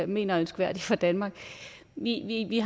mener er ønskværdigt for danmark vi har egentlig